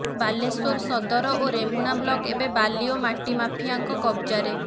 ବାଲେଶ୍ବର ସଦର ଓ ରେମୁଣା ବ୍ଲକ ଏବେ ବାଲି ଓ ମାଟି ମାଫିଆଙ୍କ କବ୍ଜାରେ